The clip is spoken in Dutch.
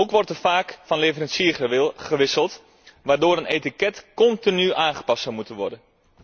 Ook wordt er vaak van leverancier gewisseld, waardoor een etiket continu aangepast zou moeten worden.